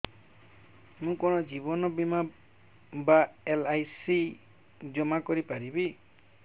ମୁ କଣ ଜୀବନ ବୀମା ବା ଏଲ୍.ଆଇ.ସି ଜମା କରି ପାରିବି